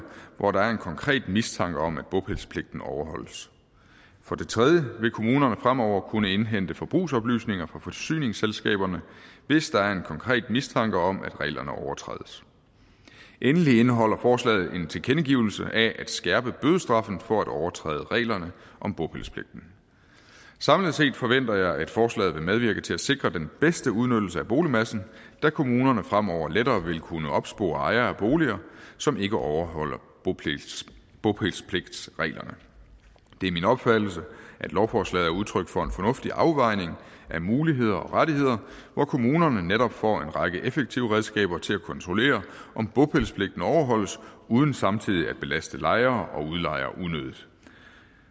hvor der er en konkret mistanke om at bopælspligten ikke overholdes for det tredje vil kommunerne fremover kunne indhente forbrugsoplysninger fra forsyningsselskaberne hvis der er en konkret mistanke om at reglerne overtrædes endelig indeholder forslaget en tilkendegivelse af at skærpe bødestraffen for at overtræde reglerne om bopælspligten samlet set forventer jeg at forslaget vil medvirke til at sikre den bedste udnyttelse af boligmassen da kommunerne fremover lettere vil kunne opspore ejere af boliger som ikke overholder bopælspligtsreglerne det er min opfattelse at lovforslaget er udtryk for en fornuftig afvejning af muligheder og rettigheder hvor kommunerne netop får en række effektive redskaber til at kontrollere om bopælspligten overholdes uden samtidig at belaste lejere